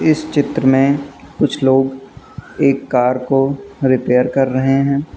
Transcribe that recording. इस चित्र में कुछ लोग एक कार को रिपेयर कर रहे हैं।